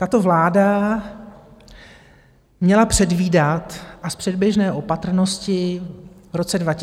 Tato vláda měla předvídat a z předběžné opatrnosti v roce 2022 konat.